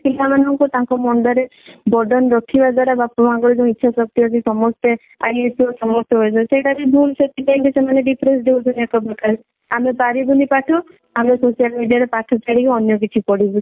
ପିଲା ମାନଙ୍କୁ ତାଙ୍କ ମୁଣ୍ଡ ରେ borden ରଖିବା ଦ୍ଵାରା ବାପା ମାଆ ଙ୍କ ର ଯଉ ଇଛା ଶକ୍ତି ଅଛି ସମସ୍ତେ IAS ସମସ୍ତେ OAS ସେଇଟା ବି ଭୁଲ ସେଥିପାଇଁ ବି ସେମାନେ depress ହଉଛନ୍ତି ଏକ ପ୍ରକାର ଆମେ ପାରିବୁନି ପାଠ ଆମେ social media ରେ ପାଠ ଛାଡିକି ଅନ୍ୟ କିଛି ପଢିବୁ